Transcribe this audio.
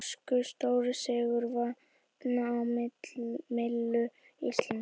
Norskur stórsigur vatn á myllu Íslands